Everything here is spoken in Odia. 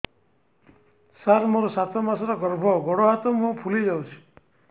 ସାର ମୋର ସାତ ମାସର ଗର୍ଭ ଗୋଡ଼ ହାତ ମୁହଁ ଫୁଲି ଯାଉଛି